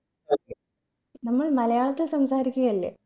നമ്മൾ മലയാളത്തിൽ സംസാരിക്കുകയല്ലേ